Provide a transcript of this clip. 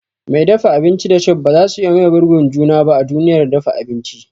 Mai dafa abinci da chef bazasu iya maye girbin juna ba a duniyar dafa abinci.